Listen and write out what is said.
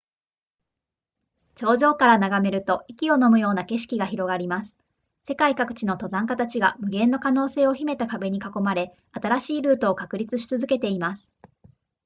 頂上から眺めると息をのむような景色が広がります世界各地の登山家たちが無限の可能性を秘めた壁に囲まれ新しいルートを確立し続けています